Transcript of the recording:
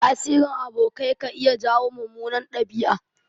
Tasirin abokai ka iya jawo mummunan ɗabi'a.